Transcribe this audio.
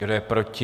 Kdo je proti?